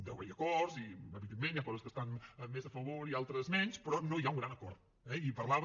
deu haver hi acords i evidentment hi han coses que estan més a favor i altres menys però no hi ha un gran acord eh i parlava